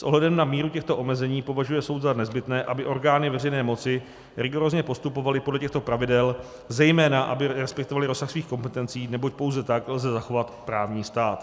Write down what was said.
S ohledem na míru těchto omezení považuje soud za nezbytné, aby orgány veřejné moci rigorózně postupovaly podle těchto pravidel, zejména aby respektovaly rozsah svých kompetencí, neboť pouze tak lze zachovat právní stát.